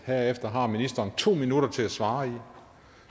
herefter har ministeren to minutter til at svare i